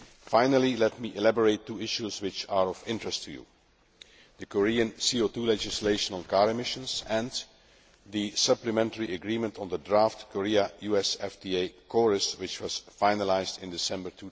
Finally, let me elaborate on two issues which are of interest to you the Korean CO 2 legislation on car emissions, and the supplementary agreement on the draft Korea US FTA which was finalised in December